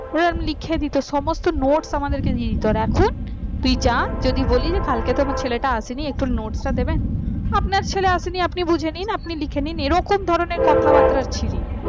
এরকম লিখে দিত সমস্ত notes আমাদেরকে দিয়ে দিত আর এখন তুই যা যদি বলিস কালকে তো আমার ছেলেটা আছে না একটু একটু নোটটা দেবেন আপনার ছেলে আসেনি আপনি বুঝে নিন আপনি লিখে নিন এরকম ধরনের কথাবার্তা ছিরি